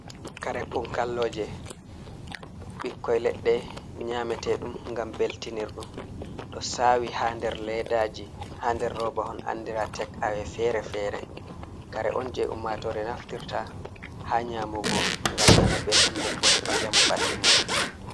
Kare punkalloje ɓikkoi leɗɗe nyamete ɗum ngam beltinir ɗum ɗo sawi ha der leddaji ha der robahon andira tek awe fere-fere. Kare on je ummatore naftirta ha nyamugo ngam nana belɗum nden bo heɓa njamu ɓalli muɗum.